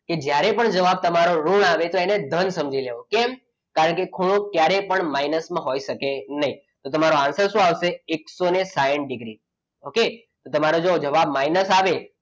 જ્યારે પણ તમારો જવાબ ઋણ આવે તો તેને ધન સમજી લેવું કેમ? કારણ કે ખૂણો ક્યારે પણ માઇનસમાં હોઈ શકે નહીં તો તમારો answer શું આવશે? એકસો સાઈઠ ડિગ્રી ઓકે તમારો જો જવાબ આવે,